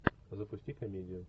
запусти комедию